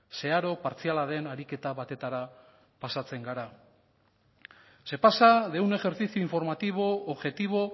zeharo partziala den ariketa batetara pasatzen gara se pasa de un ejercicio informativo objetivo